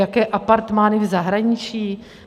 Jaké apartmány v zahraničí?